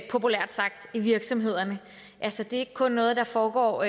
populært sagt i virksomhederne altså det er ikke kun noget der foregår